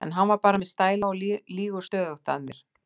En hann er bara með stæla og lýgur stöðugt að mér.